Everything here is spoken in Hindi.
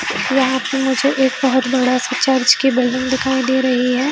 यहाँ पे मुझे एक बहोत बड़ा-सा चर्च की बलून दिखाई दे रही है।